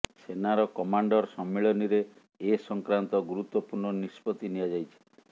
ସେନାର କମାଣ୍ଡର ସମ୍ମିଳନୀରେ ଏ ସଂକ୍ରାନ୍ତ ଗୁରୁତ୍ୱପୂର୍ଣ୍ଣ ନିଷ୍ପତ୍ତି ନିଆଯାଇଛି